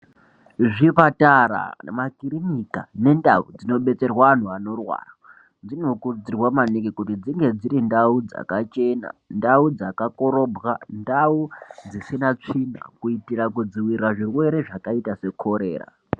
Zvipatara, makirinika nendau dzinobetserwa antu anorwara dzinokurudzirwa maningi kuti dzinge dziri ndau dzakachena, ndau dzakakorobwa, ndau dzisina tsvina kuiitira kudzivirira zvirwere zvakaita sekorera.